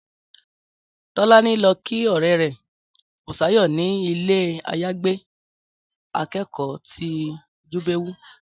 Tọ́lání lọ kí ọ̀rẹ́ rẹ̀ Bùsáyọ̀ ni ilé-àyágbé akẹ́kọ̀ọ́ ti Jíbówú